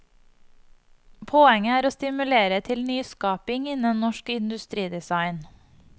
Poenget er å stimulere til nyskaping innen norsk industridesign.